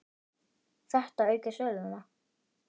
Þetta auki söluna.